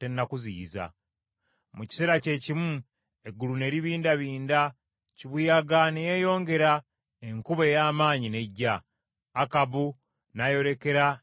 Mu kiseera kyekimu, eggulu ne libindabinda, kibuyaga ne yeeyongera, enkuba ey’amaanyi n’ejja, Akabu n’ayolekera e Yezuleeri.